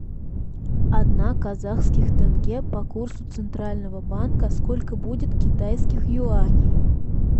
одна казахских тенге по курсу центрального банка сколько будет китайских юаней